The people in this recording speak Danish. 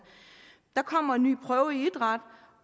der kommer en ny prøve i idræt